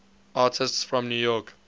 artists from new york